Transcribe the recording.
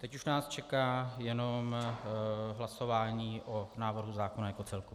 Teď už nás čeká jenom hlasování o návrhu zákona jako celku.